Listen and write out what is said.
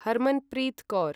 Harmanpreet Kaur